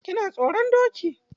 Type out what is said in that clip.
Kina tsoron doki?